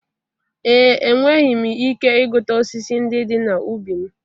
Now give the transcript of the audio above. Ee, enweghị m ike ịgụta osisi ndị dị n'ubi m.